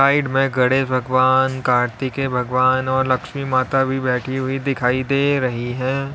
Side में गणेश भगवान कार्तिकेय भगवान और लक्ष्मी माता भी बैठी हुई दिखाई दे रही है।